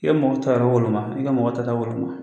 I bɛ mɔgɔ ta woloma i ka mɔgɔ tata woloma